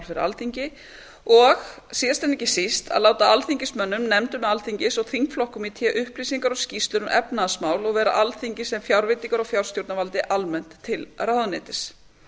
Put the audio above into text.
fyrir alþingi og síðast en ekki síst fimmta að láta alþingismönnum nefndum alþingis og þingflokkum í té upplýsingar og skýrslur um efnahagsmál og vera alþingi sem fjárveitingar og fjárstjórnarvaldi almennt til ráðuneytis